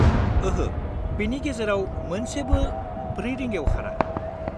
ओहो, बेनि गेजेराव मोनसेबो 4 रिंगायाव खारा।